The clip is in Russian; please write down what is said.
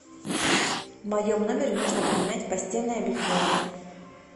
в моем номере нужно поменять постельное белье